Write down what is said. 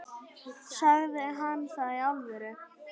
Sagði hann það í alvöru?